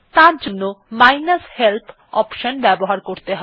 তারজন্য minus help option ব্যবহার করতে হবে